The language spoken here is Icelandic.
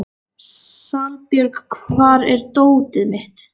Salbjörg, hvar er dótið mitt?